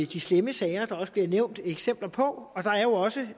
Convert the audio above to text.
de slemme sager der også bliver nævnt eksempler på og der er jo også